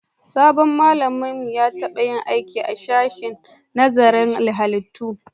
Sabon malamin mu ya taba yin aiki a sashen nazarin halittu